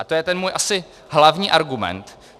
A to je ten můj asi hlavní argument.